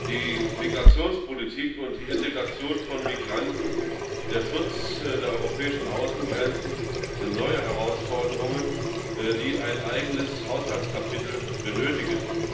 Die Migrationspolitik und die Integration von Migranten sowie der Schutz der europäischen Außengrenzen sind neue Herausforderungen die ein eigenes Haushaltskapitel benötigen.